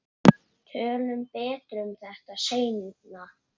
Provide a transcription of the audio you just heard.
Tölum betur um þetta seinna.